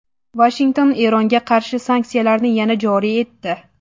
Vashington Eronga qarshi sanksiyalarni yana joriy etdi.